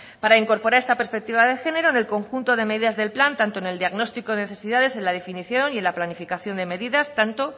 para incorporar esta perspectiva de género en el conjunto de medidas del plan tanto en el diagnóstico de necesidad en la definición y en la planificación de medidas tanto